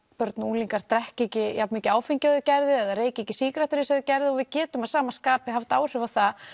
börn og unglingar drekki ekki jafn mikið áfengi og þau gerðu eða reyki ekki sígarettur eins og þau gerðu við getum að sama skapi haft áhrif á það